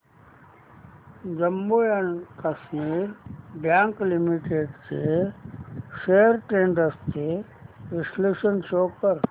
Jammu and Kashmir bank limited shares trends चे विश्लेषण show कर